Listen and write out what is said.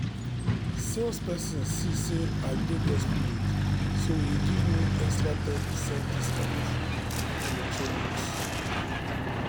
salesperson see say i dey desperate so e give me extra ten percent discount for electronics.